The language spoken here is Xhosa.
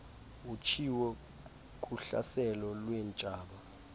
utshiwo kuhlaselo lweentshaba